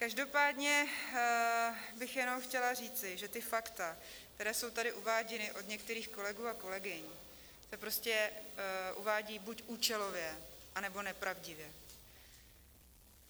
Každopádně bych jenom chtěla říci, že ta fakta, která jsou tady uváděna od některých kolegů a kolegyň, se prostě uvádí buď účelově, anebo nepravdivě.